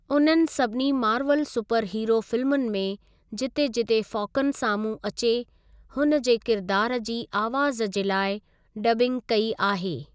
उननि सभिनी Marvel superhero फिल्मुनि में, जिते जिते फ़ॉकन साम्हूं अचे, हुन जे किरदार जी आवाज़ जे लाइ डब्बिंग कई आहे।